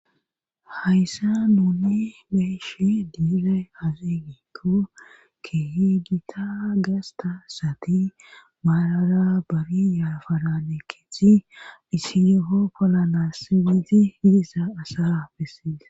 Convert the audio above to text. hayssa nuni beyshe diizay azigiikko kehigita gasta sati maalara bari yaafarane kicci isiyho polanassigisi hidisa asara bessies